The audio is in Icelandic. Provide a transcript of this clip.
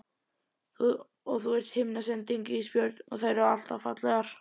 Og þú ert himnasending Ísbjörg og þær eru alltaf fallegar.